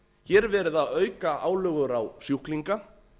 hér er verið að auka álögur á sjúklinga